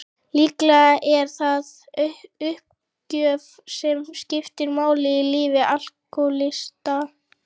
Líklega er það uppgjöf sem skiptir máli í lífi alkohólista.